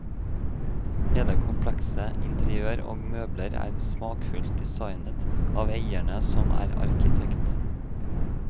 Hele komplekset, interiør og møbler er smakfult designet av eieren som er arkitekt.